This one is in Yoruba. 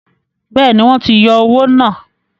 Bẹ́ẹ̀ni, wọ́n ti yọ owó náà.